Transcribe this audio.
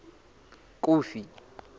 kofi